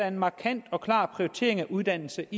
en markant og klar prioritering af uddannelse